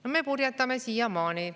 No me purjetame siiamaani.